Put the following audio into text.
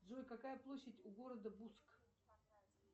джой какая площадь у города буск